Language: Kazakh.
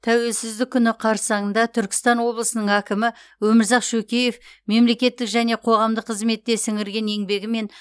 тәуелсіздік күні қарсаңында түркістан облысының әкімі өмірзақ шөкеев мемлекеттік және қоғамдық қызметте сіңірген еңбегі мен